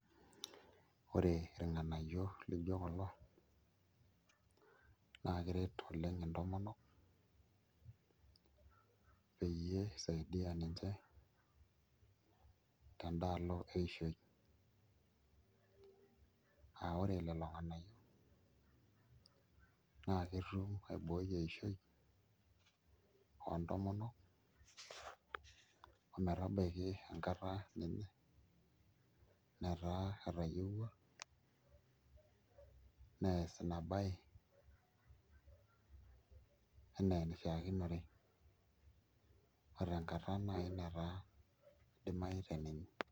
Ore irng'anayio lijio kulo naa keret oleng' intomonok peyie isaidia ninche tenda alo eishoi aa ore lelo ng'anayio naa ketum aibooi eishoi oontomonok ometabaiki enkata inyi netaa etayieua nees ina baye enaa enishiakinore o tenkata naai netaa idimayu teninye.